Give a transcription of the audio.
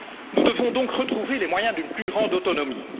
Nous devons donc retrouver les moyens d'une plus grande autonomie.